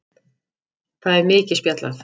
Það er mikið spjallað.